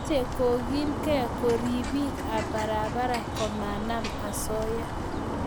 mache kogilgei kariibik ab barabara ko manam asoya